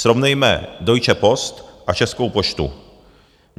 Srovnejme Deutsche Post a Českou poštu.